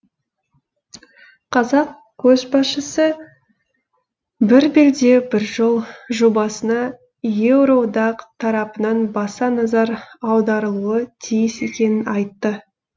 қазақ көшбасшысы бір белдеу бір жол жобасына еуроодақ тарапынан баса назар аударылуы тиіс екенін айтты